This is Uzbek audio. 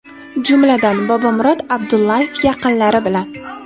Jumladan: Bobomurod Abdullayev yaqinlari bilan.